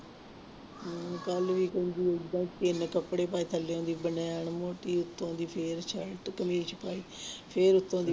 ਹਮ ਕੱਲ੍ਹ ਵੀ ਕਹਿੰਦੀ ਏਦਾਂ ਹੀ ਕੱਪੜੇ ਪਾਏ ਥੱਲਿਓਂ ਦੀ ਬਨੈਣ ਮੋਟੀ ਉੱਤੋਂ ਦੀ ਫਿਰ ਸਰਟ ਕਮੀਜ਼ ਪਾਈ ਫਿਰ ਉੱਤੋਂ ਦੀ